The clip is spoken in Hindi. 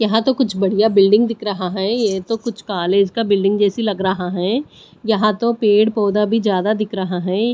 यहां तो कुछ बढ़िया बिल्डिंग दिख रहा है ये तो कुछ कॉलेज का बिल्डिंग जैसी लग रहा है यहां तो पेड़ पौधा भी ज्यादा दिख रहा है।